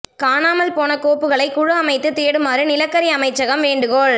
காணாமல் போன கோப்புகளை குழு அமைத்து தேடுமாறு நிலக்கரி அமைச்சகம் வேண்டுகோள்